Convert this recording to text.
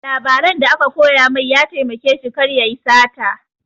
Labaran da aka koya mai ya taimake shi kar yayi sata